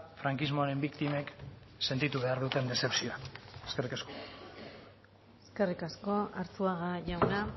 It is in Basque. frankismoaren biktimek sentitu behar duten dezepzioa eskerrik asko eskerrik asko arzuaga jauna